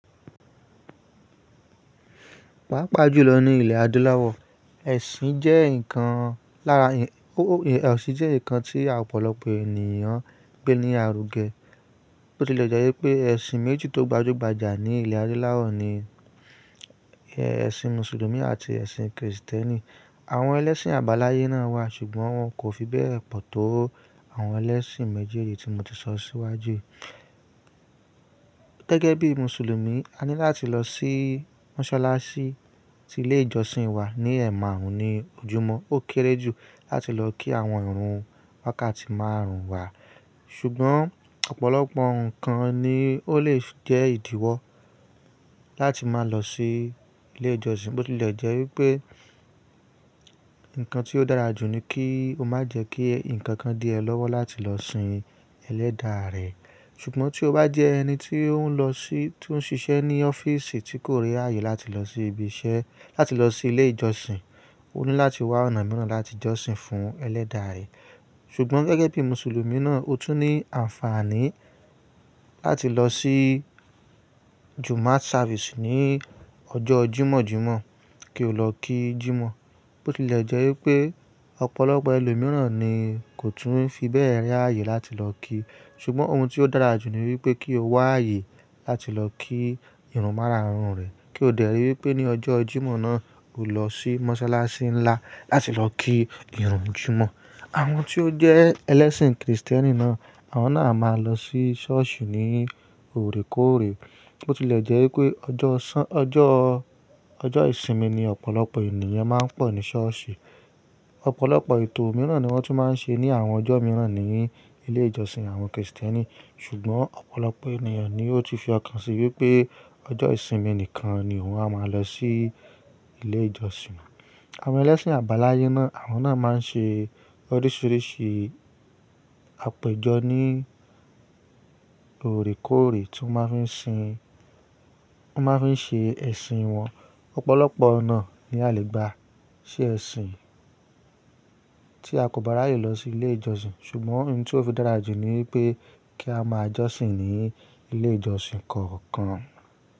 Pàápàá jùlọ ní ilẹ̀ adúláwọ̀, ẹ̀sìn jẹ́ nǹkan ẹ̀sìn jẹ́ nǹkan tí ọ̀pọ̀lọpọ̀ ènìyàn gbé ní àrùgẹ. Bó tilẹ̀ jẹ́ wípé ẹ̀sìn méjì tó gbajúgbajà ní ilẹ̀ adúláwọ̀ ni ẹ̀sìn mùsùlùmí àti ẹ̀sìn kìrìsìtẹ́nì. Àwọn ẹlẹ́sìn àbáláyé náà wà ṣùgbọ́n wọn kò fi bẹ́ẹ̀ pọ̀ tó àwọn ẹlẹ́sìn méjì yìí tí mo ti sọ síwájú. Gẹ́gẹ́ bí mùsùlùmí, a ní láti lọ sí mọ́sálásí ti ilé ìjọsìn wa ní ẹ̀maarun ní ojúmọ́. Ó kéré jù láti lọ kí àwọn ìrun wákàtí márùn-ún wa. Ṣùgbọ́n ọ̀pọ̀lọpọ̀ nǹkan ni ó lè jẹ́ ìdíwọ́ láti máa lọ sí ilé ìjọsìn. Bó tilẹ̀ jẹ́ wípé nǹkan tí ó dára jù ni kí o má jẹ́ kí nǹkan dí ẹ lọ́wọ́ láti lọ sin ẹlẹ́dàá rẹ. Ṣùgbọ́n tí o bá jẹ́ ẹni tí ó ń lọ sí tí ó ń ṣiṣẹ́ ní ọ́fíìsì tí kò r'ààyè láti lọ sí ibi iṣẹ́, láti lọ sí ilé ìjọsìn, ó ní láti wá ọ̀nà mìíràn láti jọ́sìn fún ẹlẹ́dàá rẹ̀. Ṣùgbọ́n gẹ́gẹ́ bí mùsùlùmí náà, o tún ní àǹfààní láti lọ sí Jumaat service ní ọjọ́ Jímọ̀-Jímọ̀ kí o lọ kí Jímọ̀. Bó tilẹ̀ jẹ́ wípé ọ̀pọ̀lọpọ̀ ẹlòmíràn ni kò tún fi bẹ́ẹ̀ rẹ́ ààyè láti lọ kí. Ṣùgbọ́n ohun tí ó dára jù ni wípé kí o wá ààyè láti lọ kí ìrun márààrùn rẹ̀. Kí o dẹ̀ ri wípé ní ọjọ́ Jímọ̀ náà, o lọ sí mọ́sálásí ńlá láti lọ kí ìrun Jímọ̀. Àwọn tí ó jẹ́ ẹlẹ́sìn kìrìsìtẹ́nì náà, àwọn náà máa ń lọ sí ṣọ́ọ̀ṣì ní òrekóòrè. Bó tilẹ̀ jẹ́ wípé ọjọ́ ṣán-- ọjọ́, ọjọ́ ìsinmi ni ọ̀pọ̀lọpọ̀ ènìyàn máa ń pọ̀ ní ṣọ́ọ̀ṣì. Ọ̀pọ̀lọpọ̀ ètò mìíràn ni wọ́n tún máa ń ṣe ní àwọn ọjọ́ mìíràn ní ilé ìjọsìn àwọn kìrìsìtẹ́nì. Ṣùgbọ́n ọ̀pọ̀lọpọ̀ ènìyàn ni ó ti fi ọkàn sí wípé ọjọ́ ìsinmi nìkan ni wọ́n á máa lọ sí ilé ìjọsìn. Àwọn ẹlẹ́sìn àbáláyé náà, àwọn náà máa ń ṣe oríṣìíríṣìí àpèjọ ní òrekóòrè tí wọ́n máa ń fi sin-- wọ́n máa ń fi ṣe ẹ̀sìn wọn. Ọ̀pọ̀lọpọ̀ ọ̀nà ni a lè gba ṣe ẹ̀sìn tí a kò bá rààyè lọ sí ilé ìjọsìn. Ṣùgbọ́n ohun tí ó fi dára jù ni wípé kí a máa jọ́sìn ní ilé ìjọsìn kọ̀ọ̀kan.